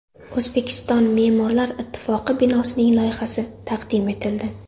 O‘zbekiston me’morlar ittifoqi binosining loyihasi taqdim etildi .